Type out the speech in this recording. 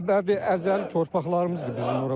Əbədi əzəli torpaqlarımızdır bizim ora.